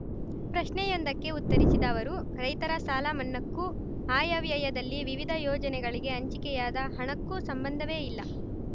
ಪ್ರಶ್ನೆಯೊಂದಕ್ಕೆ ಉತ್ತರಿಸಿದ ಅವರು ರೈತರ ಸಾಲ ಮನ್ನಾಕ್ಕೂ ಆಯವ್ಯಯದಲ್ಲಿ ವಿವಿಧ ಯೋಜನೆಗಳಿಗೆ ಹಂಚಿಕೆಯಾದ ಹಣಕ್ಕೂ ಸಂಬಂಧವೇ ಇಲ್ಲ